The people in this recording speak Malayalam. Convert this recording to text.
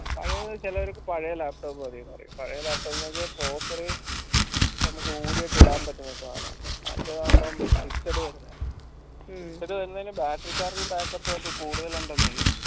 പഴയത് ചിലോരൊക്കെ പഴയത് laptop മതി പറയും പഴയെ laptop നമ്മക് ഊരിയാ ഇടാൻ പറ്റുന്ന സാനാ മറ്റതാവുമ്പം fixed